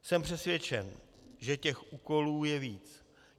Jsem přesvědčen, že těch úkolů je víc.